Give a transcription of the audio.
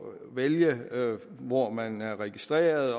vælge hvor man er registreret